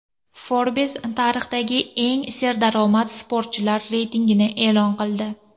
Forbes tarixdagi eng serdaromad sportchilar reytingini e’lon qildi.